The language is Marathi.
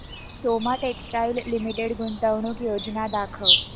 सोमा टेक्सटाइल लिमिटेड गुंतवणूक योजना दाखव